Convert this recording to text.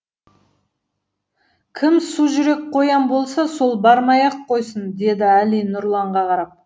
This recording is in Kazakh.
кім сужүрек қоян болса сол бармай ақ қойсын деді әли нұрланға қарап